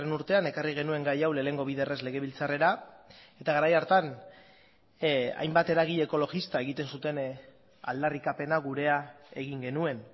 urtean ekarri genuen gai hau lehenengo biderrez legebiltzarrera eta garai hartan hainbat eragile ekologista egiten zuten aldarrikapena gurea egin genuen